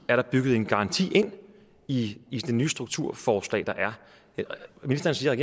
er bygget en garanti ind i det nye strukturforslag ministeren siger at